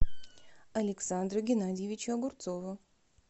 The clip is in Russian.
александру геннадьевичу огурцову